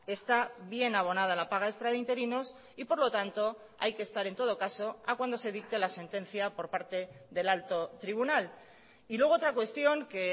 está bien abonada la paga extra de interinos y por lo tanto hay que estar en todo caso a cuando se dicte la sentencia por parte del alto tribunal y luego otra cuestión que